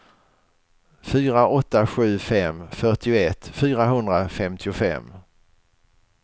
fyra åtta sju fem fyrtioett fyrahundrafemtiofem